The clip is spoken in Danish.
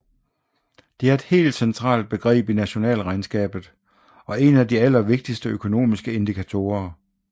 Det er et helt centralt begreb i nationalregnskabet og en af de allervigtigste økonomiske indikatorer